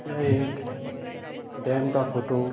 यह एक डैम का फ़ोटो --